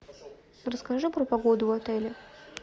расскажи про погоду в отеле